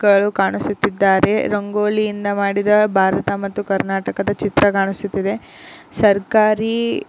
ವರು ಕಾಣಿಸುತ್ತಿದ್ದಾರೆ ರಂಗೋಲಿಯಿಂದ ಮಾಡಿದ ಭಾರತ ಮತ್ತು ಕರ್ನಾಟಕದ ಚಿತ್ರ ಕಾಣಿಸುತ್ತಿದೆ ಸರ್ಕಾರಿ --